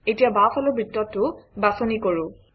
এতিয়া বাওঁফালৰ বৃত্তটো বাছনি কৰোঁ